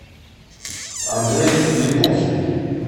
андрей липухин